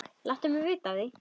Láttu vita af því.